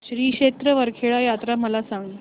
श्री क्षेत्र वरखेड यात्रा मला सांग